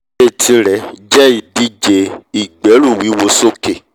ẹré tirẹ̀ jẹ́ ìdíje ìgbẹ́rùwíwo sókè